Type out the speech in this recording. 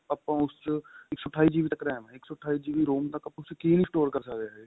ਆਪਾਂ ਉਸ ਚ ਇੱਕ ਸੋ ਅਠਾਈ GB ਤੱਕ RAM ਏ ਇੱਕ ਸੋ ਅਠਾਈ GB ROM ਤੱਕ ਕੀ ਨਹੀਂ store ਕਰ ਸਕਦੇ ਅਸੀਂ